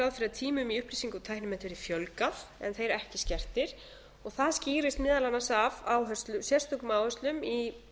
fyrir að tímum í upplýsinga og tæknimennt verði fjölgað en þeir ekki skertir og það skýrist meðal annars af sérstökum áherslum í